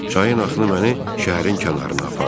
Çayın axını məni şəhərin kənarına apardı.